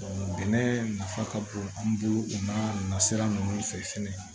bɛnɛ nafa ka bon an bolo u n'a nasira ninnu fɛ fɛnɛ